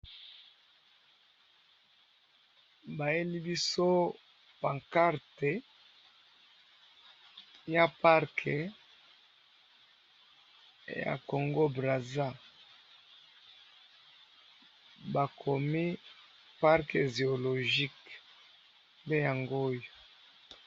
Ezali pancarte ya parc zoologique ya Congo Brazza.